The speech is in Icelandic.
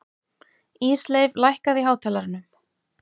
Ísleif, lækkaðu í hátalaranum.